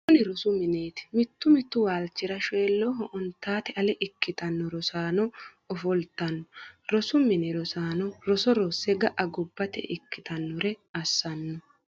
kuni rosu mineeti. mittu mittu waalichira shoyiloho ontate ale ikitanno rosaano ofolitanno. rosu mini rosaano roso rosse ga'a gobbate ikkitannore assanno.